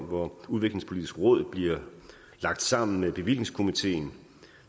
hvor udviklingspolitisk råd bliver lagt sammen med bevillingskomiteen